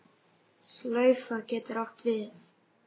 En um hvað?